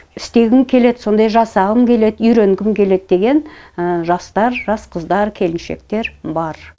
істегім келеді сондай жасағым келеді үйренгім келеді деген жастар жас қыздар келіншектер бар